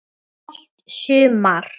Allt sumar